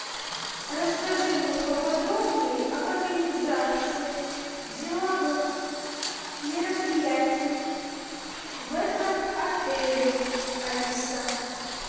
расскажи мне поподробнее об организации деловых мероприятий в этом отеле алиса